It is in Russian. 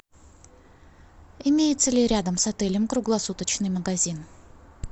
имеется ли рядом с отелем круглосуточный магазин